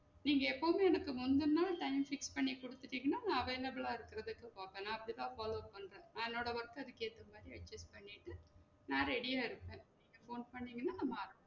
நீங்க எப்பவுமே எனக்கு முந்தநாள் time fix பண்ணி குடுத்துடிங்கன்னா நான் available ஆ இருக்குறதுக்கு பாப்பேன் நான் அப்டிதா follow பண்ணுறேன் நான் என்னோட work அ அதுக்கு எத்தமாரி adjust பண்ணிட்டு நான் ready யா இருப்பேன் போன் பண்ணிங்கனா நம்ம ஆரம்~